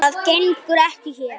Síminn hringir strax aftur.